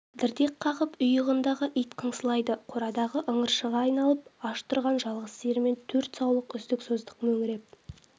дірдек қағып үй ығындағы ит қыңсылайды қорадағы ыңыршағы айналып аш тұрған жалғыз сиыр мен төрт саулық үздік-создық мөңіреп